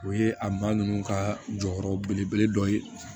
O ye a ba ninnu ka jɔyɔrɔ belebele dɔ ye